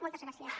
moltes gràcies